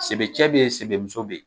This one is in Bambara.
Sebe cɛ be ye sebe muso be ye